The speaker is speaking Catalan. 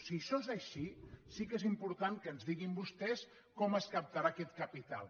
si això és així sí que és important que ens diguin vostès com es captarà aquest capital